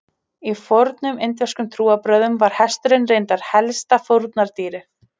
Í fornum indverskum trúarbrögðum var hesturinn reyndar helsta fórnardýrið.